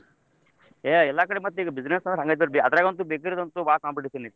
ಏ ಎಲ್ಲಕಡೆ ಈಗ ಮತ್ತ business ಅಂದ್ರ ಹಂಗ ಮತ್ತರ್ರೀ ಅದ್ರಗಂತೂ bakery ದಂತು ಬಾಳ್ competition ಐತಿ.